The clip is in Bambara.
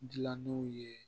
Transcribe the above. Dilannenw ye